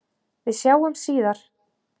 Við sjáumst síðar.